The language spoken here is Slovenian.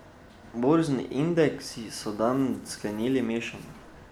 Borzni indeksi so dan sklenili mešano.